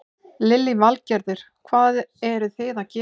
Lillý Valgerður: Hvað eruð þið að gera?